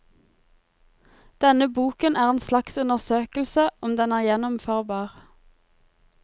Denne boken er en slags undersøkelse om den er gjennomførbar.